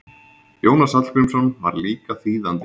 Jónas Hallgrímsson var líka þýðandi.